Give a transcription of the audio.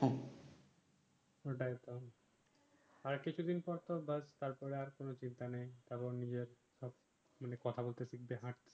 ঐ টাই তো আর কিছু দিন পর তো তোর বার তার পরে আর কোন চিন্তা নাই কারন কথা বলতে শিখবে হাট